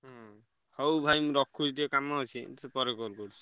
ହୁଁ ହଉ ଭାଇ ମୁଁ ରଖୁଛି ଟିକେ କାମ ଅଛି। ସେ ପରେ call କରୁଛି।